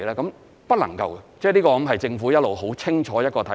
是不能夠的，這一直是政府一個很清楚的看法。